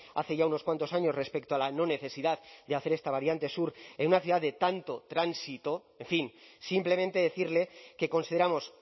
hace ya unos cuantos años respecto a la no necesidad de hacer esta variante sur en una ciudad de tanto tránsito en fin simplemente decirle que consideramos